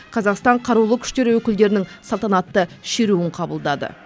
қазақстан қарулы күштері өкілдерінің салтанатты шеруін қабылдады